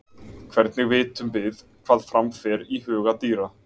Hvernig vitum við hvað fram fer í huga dýra?